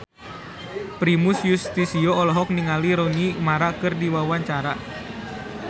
Primus Yustisio olohok ningali Rooney Mara keur diwawancara